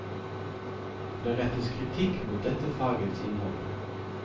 Der rettes kritikk mot dette fagets innhold.